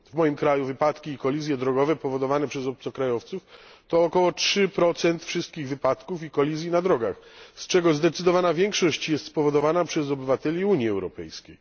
W moim kraju wypadki i kolizje drogowe powodowane przez obcokrajowców to około 3 wszystkich wypadków i kolizji na drogach, z czego zdecydowana większość jest spowodowana przez obywateli Unii Europejskiej.